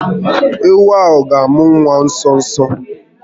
Ewu ahụ ga amụ nwa nso nso a